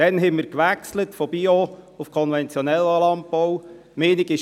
Damals haben wir von Bio- auf konventionellen Landbau gewechselt.